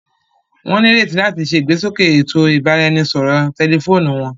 Wọn nireti làti ṣe igbesoke ètò ibaraẹnisọrọ tẹlifóònù wọn